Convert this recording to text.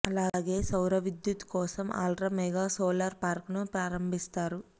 అలాగే సౌరవిద్యుత్ కోసం అల్ట్రా మెగా సోలార్ పార్క్ ను ప్రారంభిస్తారు